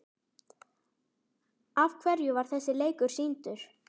Af hverju var þessi leikur sýndur?